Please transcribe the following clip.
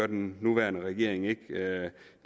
den nuværende regering